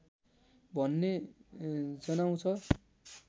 भन्ने जनाउँछ